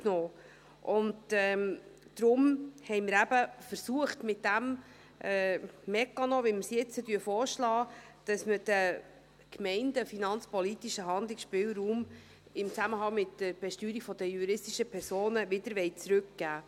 Deshalb haben wir mit diesem Mechanismus, wie wir ihn jetzt vorschlagen, versucht, den Gemeinden im Zusammenhang mit der Besteuerung der juristischen Personen den finanzpolitischen Handlungsspielraum zurückzugeben.